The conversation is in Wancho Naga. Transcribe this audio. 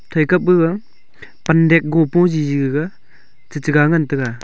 breaka gaga pande gopo je gaga chatega ngan taga.